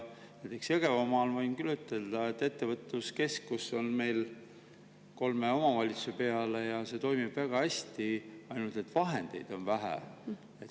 Näiteks võin küll ütelda, et Jõgevamaal on meil ettevõtluskeskus kolme omavalitsuse peale ja see toimib väga hästi, ainult et vahendeid on vähe.